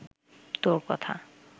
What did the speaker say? তোর কথা